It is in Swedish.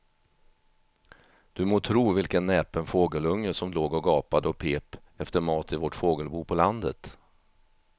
Du må tro vilken näpen fågelunge som låg och gapade och pep efter mat i vårt fågelbo på landet.